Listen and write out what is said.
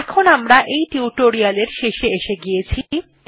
এখন আমরা টিউটোরিয়ালটির শেষে এসে গিয়েছি